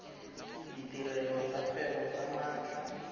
ditirelo tsa kgwebo tsa maatla